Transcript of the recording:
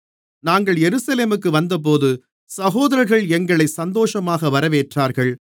நாங்கள் எருசலேமுக்கு வந்தபோது சகோதரர்கள் எங்களை சந்தோஷமாக வரவேற்றார்கள்